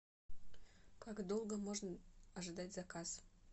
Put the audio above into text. как долго можно ожидать заказ